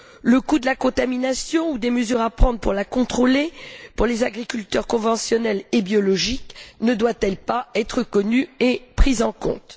Le coût de la contamination ou des mesures à prendre pour la contrôler, pour les agriculteurs conventionnels et biologiques, ne doit il pas être connu et pris en compte?